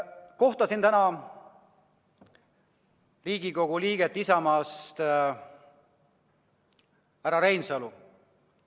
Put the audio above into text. Kohtasin täna Riigikogu liiget Isamaast, härra Reinsalu.